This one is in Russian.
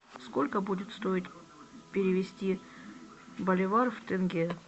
сколько будет стоить перевести боливар в тенге